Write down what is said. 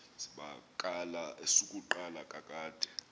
zibakala esokuqala kakade